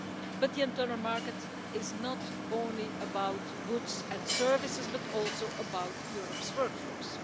But the internal market is not only about goods and services but also about Europe's work force.